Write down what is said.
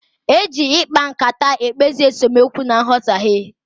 Eji ịkpa nkata ekpezi esemookwu na nghọtaghie.